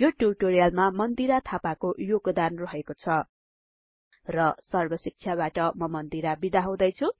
यो ट्युटोरियलमा मन्दिरा थापाको योगदान रहेको छ र सर्बशिक्षाबाट म मन्दिरा बिदा हुदैछुँ